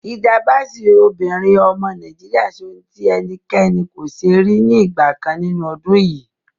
Hilda Baci, obìnrin ọmọ Nàìjíríà ṣe ohun tí ẹnikẹ́ni kò ṣe rí ní ìgbà kan nínú ọdún yìí.